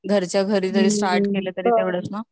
घरच्या घरी जरी स्टार्ट केलं तरी परवडता